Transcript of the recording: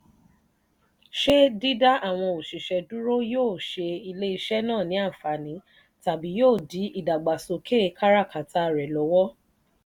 ṣé dídá àwọn òṣìṣẹ́ dúró yóò ṣe ilé-iṣẹ́ náà ní ànfààní tàbí yóò di ìdàgbàsókè kára káta rẹ̀ lọ́wọ́?